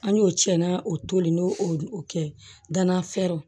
An y'o cɛnna o toli n'o o kɛ danana fɛrɛw